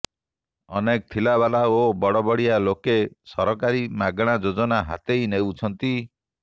ଅନେକ ଥିଲାବାଲା ଓ ବଡ ବଡିଆ ଲୋକେ ସରକାରୀ ମାଗଣା ଯୋଜନା ହାତେଇ ନେଉଛନ୍ତି